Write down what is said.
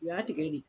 U y'a tigɛ de